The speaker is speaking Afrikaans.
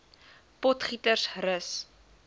potgietersrus